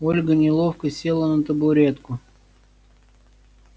ольга неловко села на табуретку